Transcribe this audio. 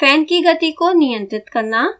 fan की गति को नियंत्रित करना